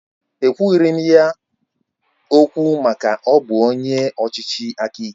Ekwughiri m ya okwu maka na ọ bụ onye ọchịchị aka ike